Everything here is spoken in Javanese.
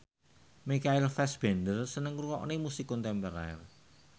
Michael Fassbender seneng ngrungokne musik kontemporer